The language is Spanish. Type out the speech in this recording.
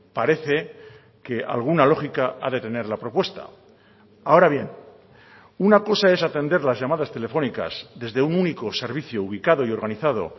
parece que alguna lógica ha de tener la propuesta ahora bien una cosa es atender las llamadas telefónicas desde un único servicio ubicado y organizado